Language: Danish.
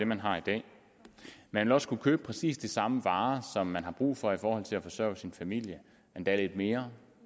man har i dag man vil også kunne købe præcis de samme varer som man har brug for for til at forsørge sin familie endda lidt mere